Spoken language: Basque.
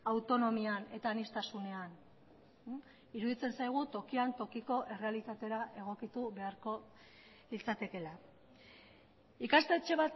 autonomian eta aniztasunean iruditzen zaigu tokian tokiko errealitatera egokitu beharko litzatekeela ikastetxe